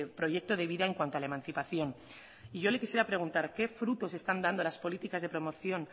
proyecto de vida en cuanto a la emancipación y yo le quisiera preguntar qué frutos están dando las políticas de promoción